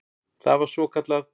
Það var svokallað